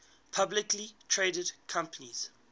publicly traded companies